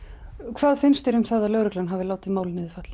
hvað finnst þér um það að lögreglan hafi látið málið niður falla